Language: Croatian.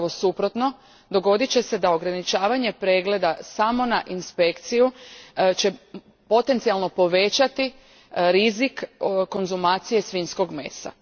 Upravo suprotno, dogodit će se da će ograničavanje pregleda samo na inspekciju potencijalno povećati rizik konzumacije svinjskog mesa.